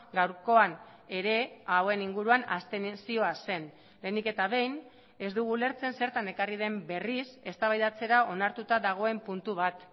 gaurkoan ere hauen inguruan abstentzioa zen lehenik eta behin ez dugu ulertzen zertan ekarri den berriz eztabaidatzera onartuta dagoen puntu bat